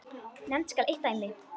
Nefnt skal eitt dæmi.